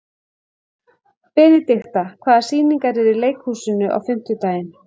Benidikta, hvaða sýningar eru í leikhúsinu á fimmtudaginn?